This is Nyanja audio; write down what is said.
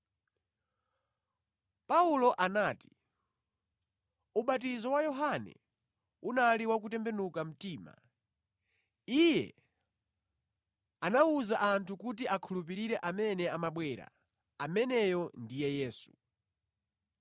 Paulo anati, “Ubatizo wa Yohane unali wa kutembenuka mtima. Iye anawuza anthu kuti akhulupirire amene amabwera, ameneyo ndiye Yesu.”